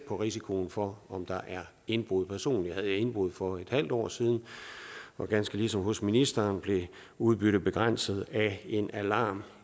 risikoen for indbrud personligt havde jeg indbrud for en halv år siden og ganske ligesom hos ministeren blev udbyttet begrænset af en alarm